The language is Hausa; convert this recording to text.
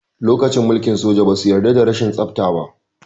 Lokacin mulkin soja, ba su yarda da rashin tsafta ba.